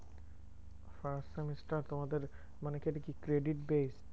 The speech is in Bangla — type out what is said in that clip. First semester তোমাদের মানে কি এটা কি credit bate?